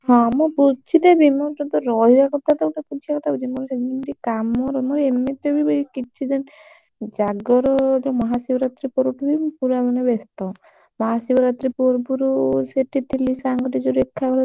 ହଁ ମୁଁ ବୁଝି ଦେବି ମୁଁ ତ ରହିବା କଥା ତ ଗୋଟେ ବୁଝିବା କଥା ବୁଝିବି ମୋର ଟିକେ କାମ ରେ ମୋର ଏମିତିରେ ବି କିଛି ଦିନ ଜାଗରରେ ମହାଶିବ ରାତ୍ରି ପୁର ବୁରୁ ଠୁ ହିଁ ମୁଁ ପୁରା ମାନେ ବ୍ୟସ୍ତ ମହାଶିବରାତ୍ରୀ ପୁର୍ବରୁ ସେଠି ଥିଲି ସାଙ୍ଗ ଟା ଯଉ ରେଖା ଘରେ ତାର।